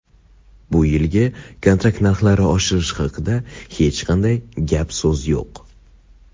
Bu yilgi kontrakt narxlari oshirish haqida hech qanday gap-so‘z yo‘q.